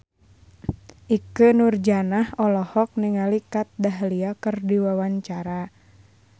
Ikke Nurjanah olohok ningali Kat Dahlia keur diwawancara